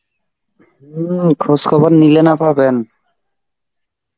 হম খোজ খবর নিলে না পাবেন.